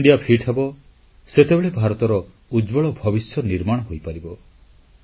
ଯେତେବେଳେ ଭାରତ ଫିଟ୍ ହେବ ସେତେବେଳେ ଭାରତର ଉଜ୍ଜ୍ୱଳ ଭବିଷ୍ୟ ନିର୍ମାଣ ହୋଇପାରିବ